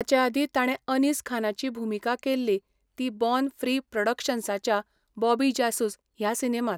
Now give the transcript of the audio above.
ताचे आदीं ताणें अनीस खानाची भुमिका केल्ली ती बॉर्न फ्री प्रॉडक्शन्साच्या बॉबी जासूस ह्या सिनेमांत.